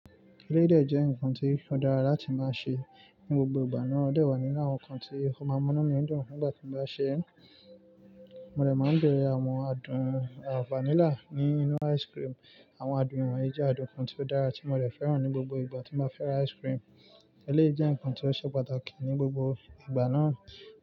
Eleyi de jẹ́ nǹkan tí ó dára láti máa sè ní gbogbo ìgbà náà, ó dẹ̀ wà nínú àwọn nǹkan tí ọ máa mú inumí dùn. Nígbà tí mo bá sè ẹ́, mo de máa ń bẹ̀rẹ̀ àwọn adùn à vanilla nínú ice cream. Àwọn adùn ìwọ̀n ìjẹ àdùn kan tí ó dára tí mo de fẹ́ràn ní gbogbo ìgbà tí mo bá fẹ́ ra ice cream. Eleyi jẹ́ nǹkan tí ó ṣe pàtàkì ní gbogbo ìgbà náà.